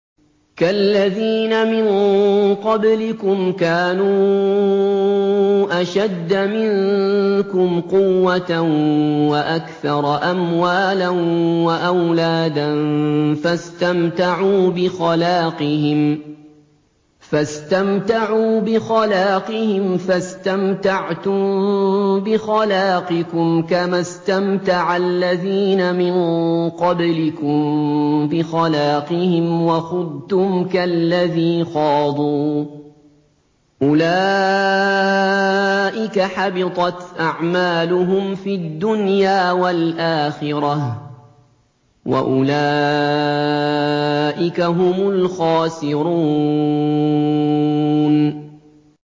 كَالَّذِينَ مِن قَبْلِكُمْ كَانُوا أَشَدَّ مِنكُمْ قُوَّةً وَأَكْثَرَ أَمْوَالًا وَأَوْلَادًا فَاسْتَمْتَعُوا بِخَلَاقِهِمْ فَاسْتَمْتَعْتُم بِخَلَاقِكُمْ كَمَا اسْتَمْتَعَ الَّذِينَ مِن قَبْلِكُم بِخَلَاقِهِمْ وَخُضْتُمْ كَالَّذِي خَاضُوا ۚ أُولَٰئِكَ حَبِطَتْ أَعْمَالُهُمْ فِي الدُّنْيَا وَالْآخِرَةِ ۖ وَأُولَٰئِكَ هُمُ الْخَاسِرُونَ